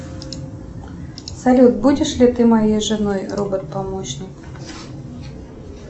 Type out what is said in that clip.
салют будешь ли ты моей женой робот помощник